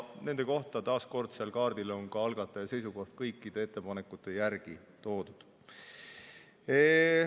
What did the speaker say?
Nende kohta on taas kord eelnõu kaardil kõikide ettepanekute järel ka algataja seisukoht ära toodud.